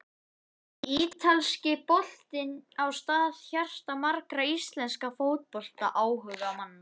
Ítalski boltinn á stað í hjarta margra íslenskra fótboltaáhugamanna.